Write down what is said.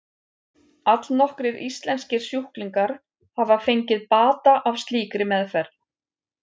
Allnokkrir íslenskir sjúklingar hafa fengið bata af slíkri meðferð.